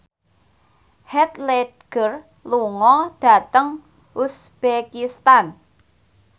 Heath Ledger lunga dhateng uzbekistan